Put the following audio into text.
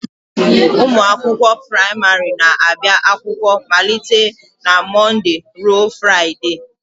Ụmụ akwụkwọ praịmarị na-abịa akwụkwọ malite na Mọnde ruo Fraịdee